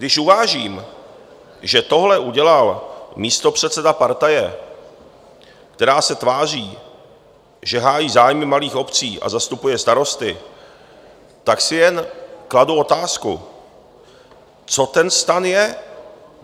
Když uvážím, že tohle udělal místopředseda partaje, která se tváří, že hájí zájmy malých obcí a zastupuje starosty, tak si jen kladu otázku: Co ten STAN je?